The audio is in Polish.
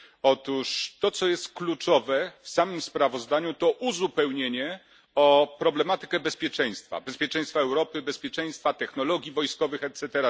Otóż to, co jest kluczowe w samym sprawozdaniu, to uzupełnienie o problematykę bezpieczeństwa bezpieczeństwa Europy, bezpieczeństwa technologii wojskowych, etc.,